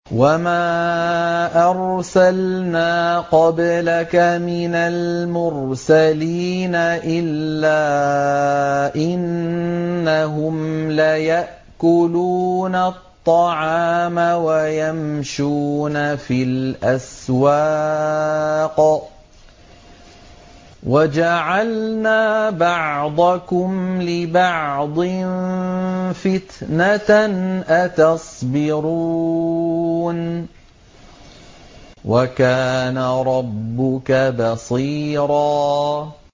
وَمَا أَرْسَلْنَا قَبْلَكَ مِنَ الْمُرْسَلِينَ إِلَّا إِنَّهُمْ لَيَأْكُلُونَ الطَّعَامَ وَيَمْشُونَ فِي الْأَسْوَاقِ ۗ وَجَعَلْنَا بَعْضَكُمْ لِبَعْضٍ فِتْنَةً أَتَصْبِرُونَ ۗ وَكَانَ رَبُّكَ بَصِيرًا